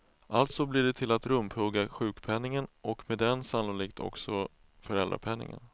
Alltså blir det till att rumphugga sjukpenningen, och med den sannolikt också föräldrapenningen.